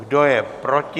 Kdo je proti?